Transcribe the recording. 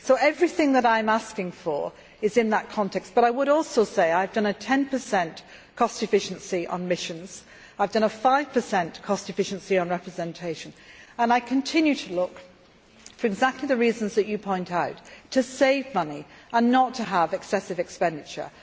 So everything that I am asking for is in that context, but I would also say that I have done a ten percent cost efficiency on missions, I have done a five percent cost efficiency on representation and I continue to look, for exactly the reasons that you point out, to save money and not to have excessive expenditure.